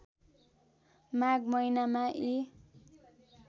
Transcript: माघ महिनामा यी